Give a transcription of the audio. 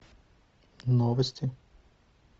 новости